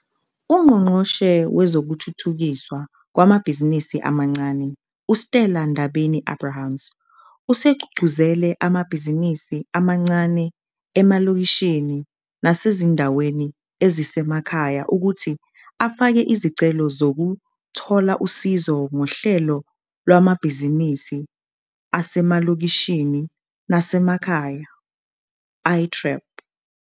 UNgqongqoshe Wezokuthuthukiswa Kwamabhizinisi Amancane, u-Stella Ndabeni-Abrahams, usegqugquzele amabhizinisi amancane emalokishini nasezindaweni ezisemakhaya ukuthi afake izicelo zokuthola usizo ngoHlelo Lwamabhizinisi Asemalokishini Nasemakhaya, i-TREP.